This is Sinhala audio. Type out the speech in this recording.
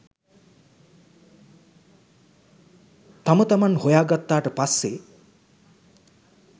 තම තමන් හොයා ගත්තාට පස්සේ